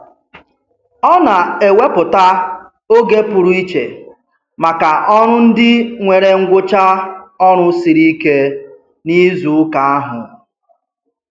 Ọ na-ewepụta oge pụrụ iche maka ọrụ ndị nwere ngwụcha ọrụ siri ike n'izuụka ahụ.